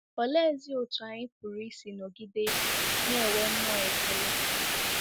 Oleezi otú anyị pụrụ isi nọgide na-enwe mmụọ ekele?